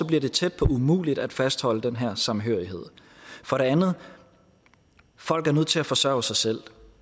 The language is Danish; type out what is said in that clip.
bliver det tæt på umuligt at fastholde den her samhørighed for det andet er folk nødt til at forsørge sig selv